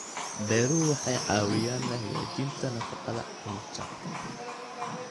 Beeruhu waxay caawiyaan hagaajinta nafaqada carruurta.